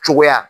Cogoya